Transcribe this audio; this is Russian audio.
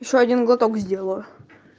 ещё один глоток сделаю